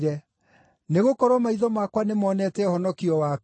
Nĩgũkorwo maitho makwa nĩmonete ũhonokio waku,